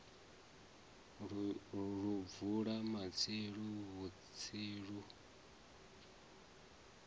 lu bvula matsilu vhutsilu lu